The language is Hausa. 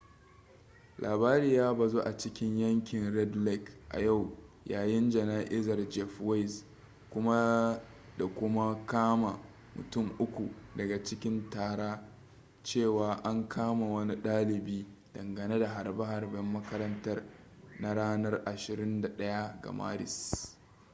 labari ya bazu a cikin yankin red lake a yau yayin jana'izar jeff weise kuma da kuma kama mutun uku daga cikin tara cewa an kama wani ɗalibi dangane da harbe-harben makarantar na ranar 21 ga maris